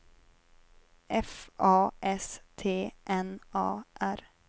F A S T N A R